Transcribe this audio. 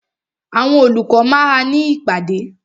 Àwọn olùkọ́ máa ní ìpàdé.